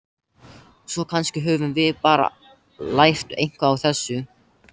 Svo kannski höfum við bara lært eitthvað á þessu.